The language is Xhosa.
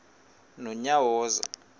nonyawoza